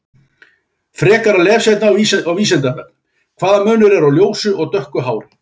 Frekara lesefni á Vísindavefnum: Hvaða munur er á ljósu og dökku hári?